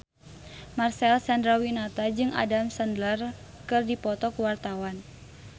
Marcel Chandrawinata jeung Adam Sandler keur dipoto ku wartawan